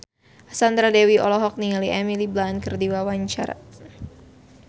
Sandra Dewi olohok ningali Emily Blunt keur diwawancara